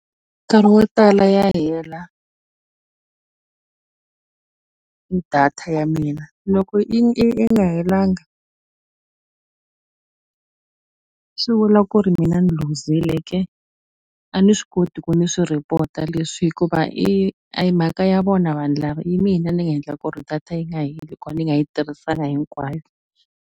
Nkarhi wo tala ya hela data ya mina loko i i nga helanga swi vula ku ri mina ni luzile ka a ni swi koti ku ni swi report-a leswi hikuva i ahi mhaka ya vona vanhu lava hi mina ni nga endla ku ri data yi nga heli ku va ni nga yi tirhisanga hinkwayo.